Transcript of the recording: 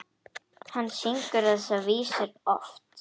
Hann syngur þessar vísur oft.